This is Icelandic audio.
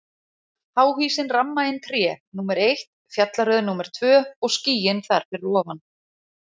Háhýsin ramma inn tré, númer eitt, fjallaröð númer tvö og skýin þar fyrir ofan.